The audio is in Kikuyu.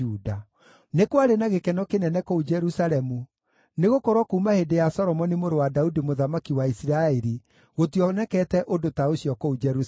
Nĩ kwarĩ na gĩkeno kĩnene kũu Jerusalemu, nĩgũkorwo kuuma hĩndĩ ya Solomoni mũrũ wa Daudi mũthamaki wa Isiraeli gũtionekete ũndũ ta ũcio kũu Jerusalemu.